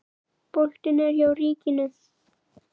Boltinn er hjá ríkinu.